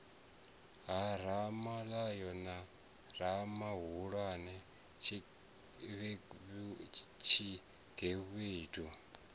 ha ramavhoya na ramabulana tshigevhedu